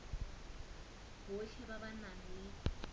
botlhe ba ba nang le